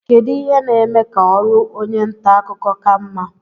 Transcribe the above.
kedu ihe na-eme ka ọrụ onye nta akụkọ ka mma